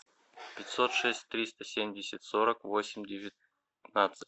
пятьсот шесть триста семьдесят сорок восемь девятнадцать